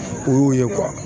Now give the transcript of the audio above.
O y'o ye